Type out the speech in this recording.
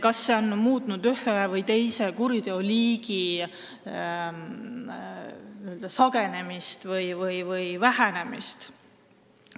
Kas need on muutnud ühe või teise kuriteoliigi sagedasemaks või harvemaks?